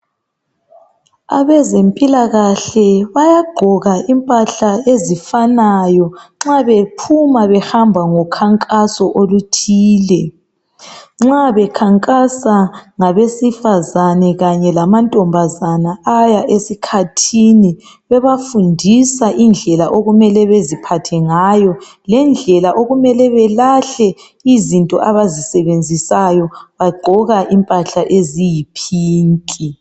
abezempilakahle bayagqoka impahla ezifanayo nxa bephuma behamba ngokhankaso oluthile nxa bekhankasa ngabesifazane kanye lamantombazane aya esikhathini bebafundisa indlela okumele bezihathe ngayo lendlela okumele belahle izinto abazisebenzisayo bagqoka impahla eziyi pink